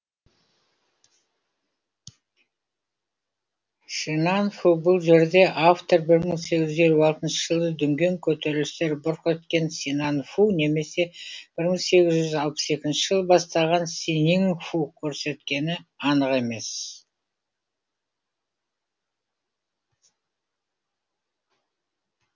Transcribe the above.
шинанфу бұл жерде автор бір мың сегіз жүз елу алтыншы жылы дүнген көтерілістері бұрқ еткен синанфу немесе бір мың сегіз жүз алпыс екінші жылы басталған синиңфу көрсеткені анық емес